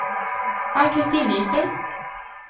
Ann-Kristin Nyström